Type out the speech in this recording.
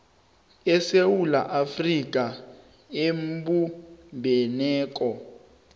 isewula afrika ebumbeneko